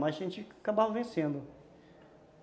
Mas a gente acabava vencendo.